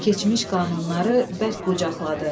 Keçmiş qanunları bərk qucaqladı.